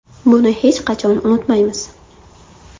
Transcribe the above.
Buni hech qachon unutmaymiz.